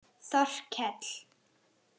Þorkell